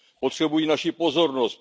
Potřebují naši pozornost.